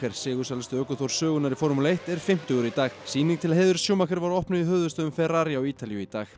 sigursælasti ökuþór sögunnar í formúlu eitt er fimmtugur í dag sýning til heiðurs var opnuð í höfuðstöðvum Ferrari á Ítalíu í dag